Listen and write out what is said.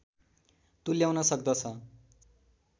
तुल्याउन सक्दछ